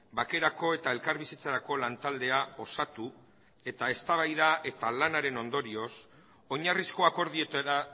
bakerako eta elkarbizitzarako lantaldea osatu eta eztabaida eta lanaren ondorioz oinarrizko akordioetara